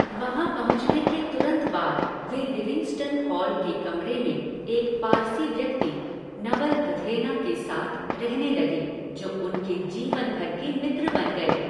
वहां पहुंचने के तुरंत बाद वे लिविंगस्टन हॉल के कमरे में एक पारसी व्यक्ति, नवल भथेना, के साथ रहने लगे जो उनके जीवन भर के मित्र बन गए।